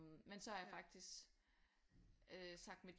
Men så er jeg faktisk øh sagt mit